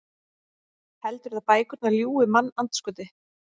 Heldurðu að bækurnar ljúgi, mannandskoti?